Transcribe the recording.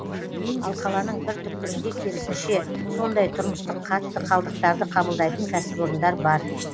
ал қаланың бір түкпірінде керісінше сондай тұрмыстық қатты қалдықтарды қабылдайтын кәсіпорындар бар